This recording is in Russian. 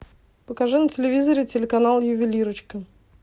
покажи на телевизоре телеканал ювелирочка